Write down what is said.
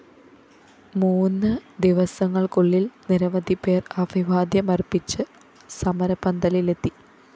മൂന്ന് ദിവസങ്ങള്‍ക്കുള്ളില്‍ നിരവധിപേര്‍ അഭിവാദ്യമര്‍പ്പിച്ച് സമരപന്തലിലെത്തി